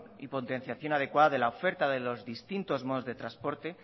y potenciación adecuada de la oferta de los distintos modos de transporte